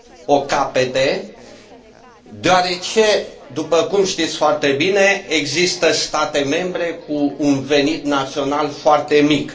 o capete, deoarece, după cum știți foarte bine, există state membre cu un venit național foarte mic.